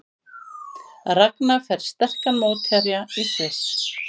Ragna fær sterkan mótherja í Sviss